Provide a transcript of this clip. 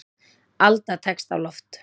Alda tekst á loft.